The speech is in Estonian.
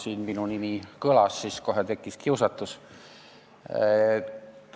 Kuna minu nimi kõlas, siis kohe tekkis kiusatus.